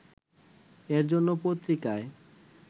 এ জন্য পত্রিকায়